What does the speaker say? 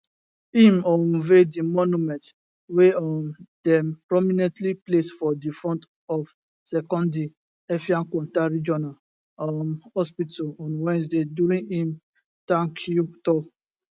im unveil di monument wey um dem prominently place for di front of sekondi effiankwanta regional um hospital on wednesday during im tankyou tour